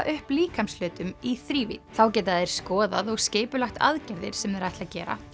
upp líkamshlutum í þrívídd þá geta þeir skoðað og skipulagt aðgerðir sem þeir ætla að gera